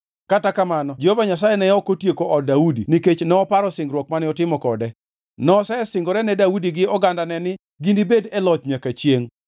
Kata kamano Jehova Nyasaye ne ok otieko od Daudi nikech noparo singruok mane otimo kode. Nosesingore ne Daudi gi ogandane ni ginibed e loch nyaka chiengʼ.